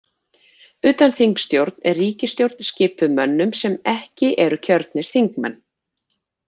Utanþingsstjórn er ríkisstjórn skipuð mönnum sem ekki eru kjörnir þingmenn.